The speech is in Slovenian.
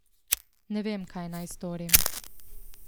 Ne vem, kaj naj storim.